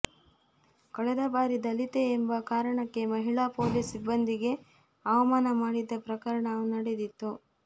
ಕಳೆದ ಬಾರಿ ದಲಿತೆ ಎಂಬ ಕಾರಣಕ್ಕೆ ಮಹಿಳಾ ಪೊಲೀಸ್ ಸಿಬ್ಬಂದಿಗೆ ಅವಮಾನ ಮಾಡಿದ್ದ ಪ್ರಕರಣವೂ ನಡೆದಿತ್ತು